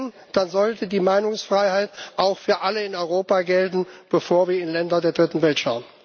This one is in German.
Wenn, dann sollte die Meinungsfreiheit auch für alle in Europa gelten, bevor wir in Länder der Dritten Welt schauen.